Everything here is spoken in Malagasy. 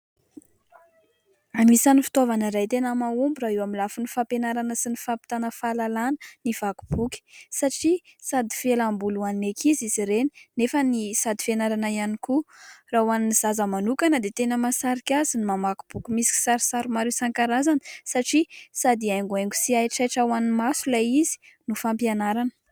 Anisan'ny fitaovana iray tena mahomby raha eo amin'ny lafiny fampianarana sy ny fampitana fahalalana ny vaky boky. Satria sady fialamboly ho an'ny ankizy izy ireny nefany sady fianarana ihany koa. Raha ho an'ny zaza manokana dia tena mahasarika azy ny mamaky boky misy kisarisary maro isan-karazany satria sady haingohaingo sy haitraitra ho an'ny maso ilay izy no fampianarana.